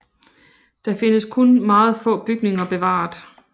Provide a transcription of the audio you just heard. Der findes kun meget få bygninger bevaret